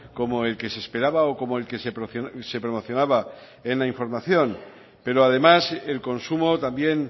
como el que se esperaba o como el que se promocionaba en la información pero además el consumo también